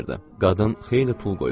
Qadın xeyli pul qoyurdu.